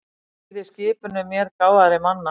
Hlýða skipunum mér gáfaðri manna.